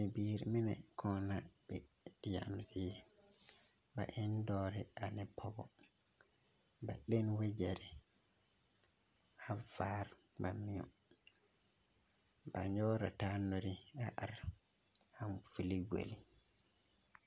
Bibiriimine kɔɔ na be deɛne kaŋa zie ba en dɔɔre ne pɔge ba le ne wagyere a vaare ba mio ba nyɔgre taa nuri are vili gbere.